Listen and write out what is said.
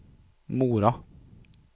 Mora